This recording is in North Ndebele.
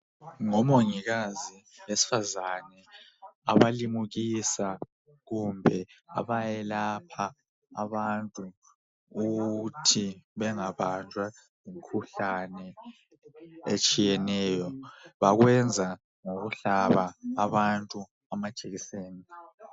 Omongikazi besifazane abalimukisa kumbe abayelapha abantu ukuthi bangabanjwa yimikhuhlane etshiyeneyo. Bakwenza ngokuhlaba abantu amajekiseni.